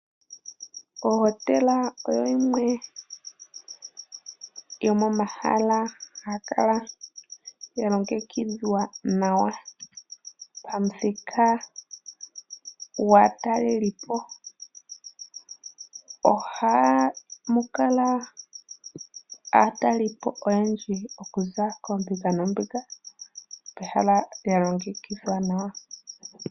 Ohotela oyo yimwe yomomahala haga kala ga longekidhwa nawa, pamuthika gwaatalelipo. Ohamu kala aatalelipo okuza koombinga noombinga, pehala lya longekidhwa nawa.